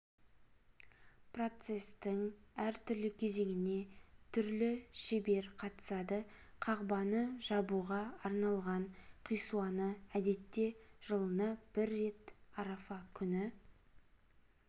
процестің әртүрлі кезеңіне түрлі шебер қатысады қағбаны жабуға арналған қисуаны әдетте жылына бір рет арафа күні